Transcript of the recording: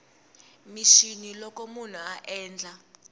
mixini loko munhu a endla